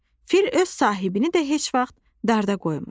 Fil öz sahibini də heç vaxt darda qoymur.